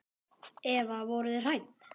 Eva: Voruð þið hrædd?